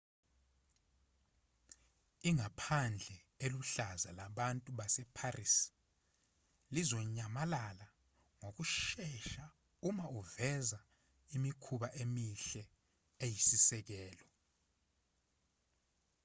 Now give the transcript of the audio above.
ingaphandle eliluhlaza labantu baseparis lizonyamalala ngokushesha uma uveza imikhuba emihle eyisisekelo